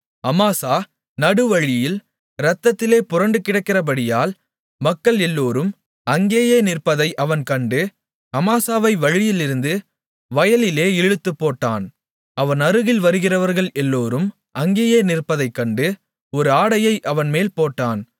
அமாசா நடுவழியில் இரத்தத்திலே புரண்டுகிடந்தபடியால் மக்கள் எல்லோரும் அங்கேயே நிற்பதை அவன் கண்டு அமாசாவை வழியிலிருந்து வயலிலே இழுத்துப்போட்டான் அவன் அருகில் வருகிறவர்கள் எல்லோரும் அங்கேயே நிற்பதைக் கண்டு ஒரு ஆடையை அவன்மேல் போட்டான்